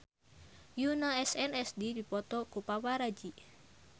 Yoona SNSD dipoto ku paparazi